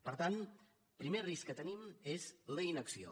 per tant el primer risc que tenim és la inacció